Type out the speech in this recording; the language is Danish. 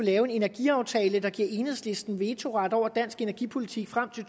lavet en energiaftale der giver enhedslisten vetoret over dansk energipolitik frem til